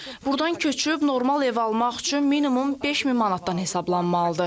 Burdan köçüb normal ev almaq üçün minimum 5000 manatdan hesablanmalıdır.